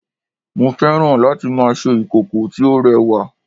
mo fẹ́ràn láti ma ṣe ìkòkò tí ó rẹwa